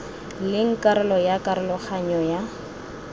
leng karolo ya karoganyo ya